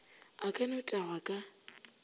a ka no tagwa ka